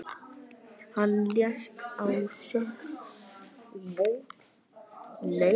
Hann lést á sjötugasta og sjötta aldursári í